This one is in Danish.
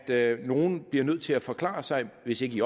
det at nogle bliver nødt til at forklare sig hvis ikke i